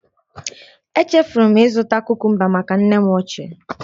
Echefuru m ịzụta kukumba maka nne m ochie